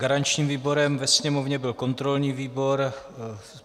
Garančním výborem ve Sněmovně byl kontrolní výbor.